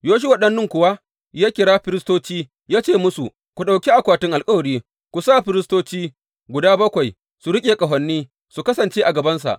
Yoshuwa ɗan Nun kuwa ya kira firistoci ya ce musu, Ku ɗauki akwatin alkawari, ku sa firistoci guda bakwai su riƙe ƙahoni su kasance a gabansa.